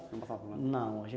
Não passava por lá? Não.